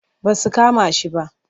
Ba su kama shi ba.